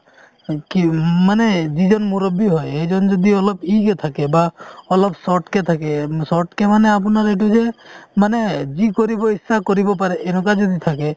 অ, কি উম মানে যিজন মুৰব্বী হয় সেইজন যদি অলপ কে থাকে বা অলপ short কে থাকে short কে মানে আপোনাৰ এইটো যে মানে যি কৰিব ইচ্ছা কৰিব পাৰে এনেকুৱা যদি থাকে